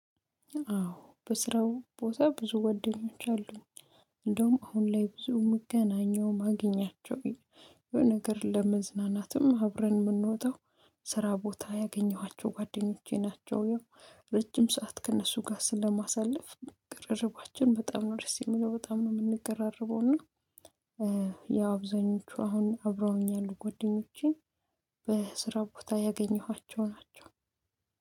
አዎ በስራው ቦታ ብዙ ጓደኞች አሉኝ። እንደውም አሁን ላይ ብዙ የምገናኘው ማገኛቸው የሆነ ነገር ለመዝናናትም አብረን የምንወጣው ስራ ቦታ ያገኘኋቸው ጓደኞቼ ናቸው። ረጅም ሰዓት ከእነሱ ጋር ስለማሳለፍ ቅርርባችን በጣም ነው ደስ የሚለው በጣም ነው የምንቀራረበው እና። ያው አብዛኞቹ አሁን አብረውኛ ያሉ ጎደኞቼ። በስራ ቦታ ያገኘኋቸው ናቸው።